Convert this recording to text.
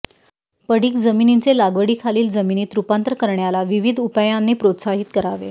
पडिक जमिनींचे लागवडीखालील जमिनीत रूपांतर करण्याला विविध उपायांनी प्रोत्साहित करावे